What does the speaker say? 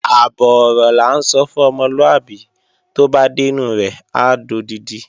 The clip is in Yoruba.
Àbọ̀ ọ̀rọ̀ là ń sọ fún ọmọlúàbí, tó bá dẹ́nu rẹ̀ á dodidi